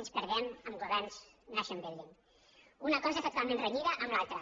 ens perdem amb governs nation building una cosa està totalment renyida amb l’altra